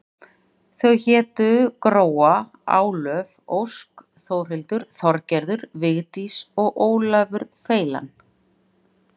Þau hétu Gróa, Álöf, Ósk, Þórhildur, Þorgerður, Vigdís og Ólafur feilan.